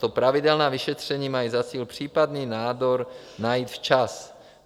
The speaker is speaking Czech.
Tato pravidelná vyšetření mají za cíl případný nádor najít včas.